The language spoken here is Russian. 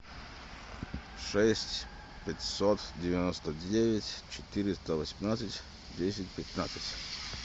шесть пятьсот девяносто девять четыреста восемнадцать десять пятнадцать